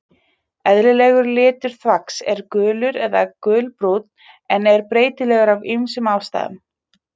Eðlilegur litur þvags er gulur eða gulbrúnn en er breytilegur af ýmsum ástæðum.